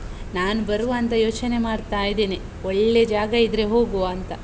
ನಾನು ಬರುವ ಅಂತ ಯೋಚನೆ ಮಾಡ್ತಾ ಇದೇನೆ. ಒಳ್ಳೇ ಜಾಗ ಇದ್ರೆ ಹೋಗುವ ಅಂತ.